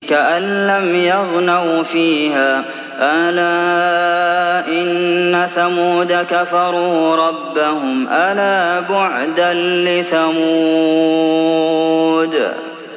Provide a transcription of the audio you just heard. كَأَن لَّمْ يَغْنَوْا فِيهَا ۗ أَلَا إِنَّ ثَمُودَ كَفَرُوا رَبَّهُمْ ۗ أَلَا بُعْدًا لِّثَمُودَ